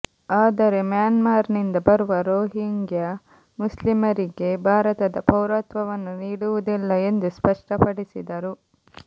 ಆದರೆ ಮ್ಯಾನ್ಮಾರ್ನಿಂದ ಬರುವ ರೋಹಿಂಗ್ಯಾ ಮುಸ್ಲಿಮರಿಗೆ ಭಾರತದ ಪೌರತ್ವವನ್ನು ನೀಡುವುದಿಲ್ಲ ಎಂದು ಸ್ಪಷ್ಟಪಡಿಸಿದರು